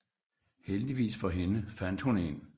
Heldigvis for hende fandt hun en